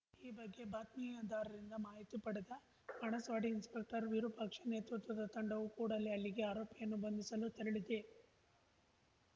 ಈ ಬಗ್ಗೆ ಬಾತ್ಮಿದಾರರಿಂದ ಮಾಹಿತಿ ಪಡೆದ ಬಾಣಸ್ವಾಡಿ ಇನ್ಸ್‌ಪೆಕ್ಟರ್‌ ವಿರೂಪಾಕ್ಷ ನೇತೃತ್ವದ ತಂಡವು ಕೂಡಲೇ ಅಲ್ಲಿಗೆ ಆರೋಪಿಯನ್ನು ಬಂಧಿಸಲು ತೆರಳಿದೆ